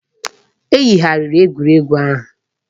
E yigharịrị egwuregwu ahụ.